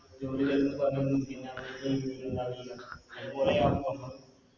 ജോലി തരുന്ന് പറഞ്ഞ് പിന്ന